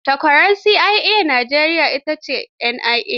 Takwarar CIA a Najeriya ita ce NIA.